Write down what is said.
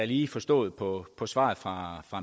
lige forstået på på svaret fra